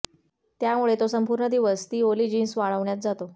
त्यामुळे तो संपूर्ण दिवस ती ओली जीन्स वाळवण्यात जातो